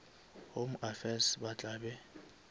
home affairs ba tla be